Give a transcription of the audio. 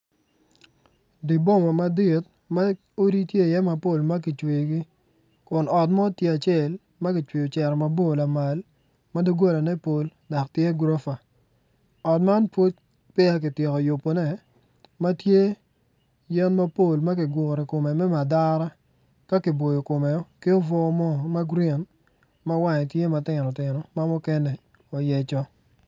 Di boma madit ma odi tye iye mapol ma kicweyogi kun ot mo tye acel ,a kicweyo ocito lamal ma dogolane pol dok tye gurofa ot man pwod peya kityeko yubone ma tye yen mapol ma kiguro i kome me madara ka kiboyo kome ki obwo mo ma grin ma wange tye matino tino ma mukene oyeco.